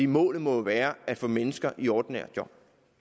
målet må jo være at få mennesker i ordinære job